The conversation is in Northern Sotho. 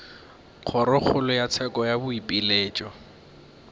kgorokgolo ya tsheko ya boipiletšo